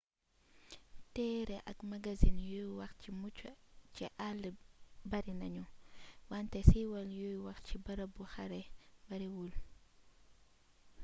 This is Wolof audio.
téere ak magasin yuy wax ci mucc ci àll bari nañu wante siiwal yuy wax ci barabu xare bariwul